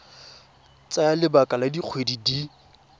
tsaya lebaka la dikgwedi di